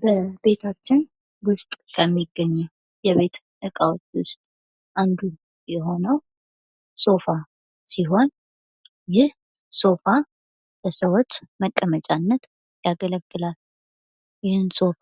በቤታችን ውስጥ ከሚገኙት የቤት እቃዎች ውስጥ አንዱ የሆነው ሶፋ ሲሆን ይህ ሶፋ ለሰዎች መቀመጫነት ያገለግላል። ይህን ሶፋ